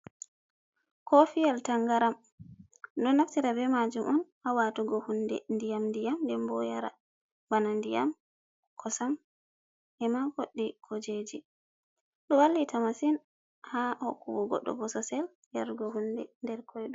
Kofiyel Tangaram: Ɗo naftira be majum on ha watugo hunde ndiyam-ndiyam nden bo yara bana ndiyam, kosam, e'ma goɗɗi kujeji. Ɗo wallita masin ha hokkugo goɗɗo bososel yarugo hunde nder redu.